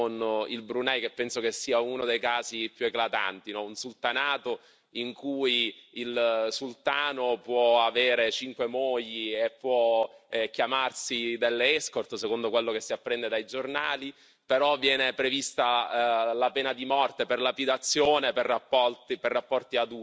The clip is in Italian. Un sultanato in cui il sultano può avere cinque mogli e può chiamare delle escort, secondo quello che si apprende dai giornali, però viene prevista la pena di morte per lapidazione per rapporti adulteri o viene prevista l'amputazione delle mani nel caso in cui